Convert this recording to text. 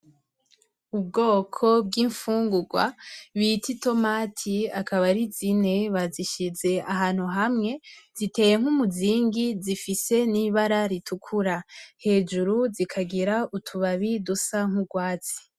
Ubwoko bw'imfungurwa bita itomati, akaba ari zine babishize ahantu hamwe, ziteye nk'umuzingi, zifise n'ibara ritukura hejuru zikagira utubabi dusa n'urwatsi.